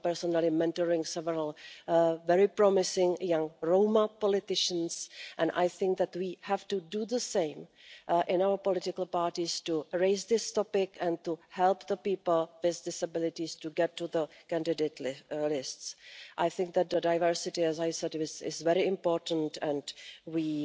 I am personally mentoring several very promising young Roma politicians and I think that we have to do the same in our political parties to raise this topic and help people with disabilities get onto candidate lists. I think that diversity, as I said, is very important